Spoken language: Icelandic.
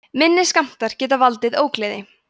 minni skammtar geta valdið ógleði